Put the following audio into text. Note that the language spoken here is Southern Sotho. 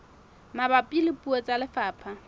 mabapi le puo tsa lefapha